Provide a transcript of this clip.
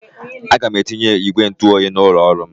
Aga m etinye ígwè ntụoyi n'ụlọ ọrụ m.